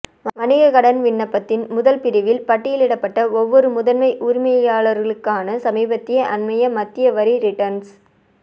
வணிக கடன் விண்ணப்பத்தின் முதல் பிரிவில் பட்டியலிடப்பட்ட ஒவ்வொரு முதன்மை உரிமையாளருக்கான சமீபத்திய அண்மைய மத்திய வரி ரிட்டர்ன்ஸ்